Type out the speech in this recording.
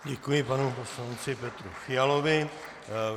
Děkuji panu poslanci Petru Fialovi.